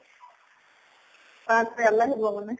তাত হে, ইয়ালে আহি পাব নে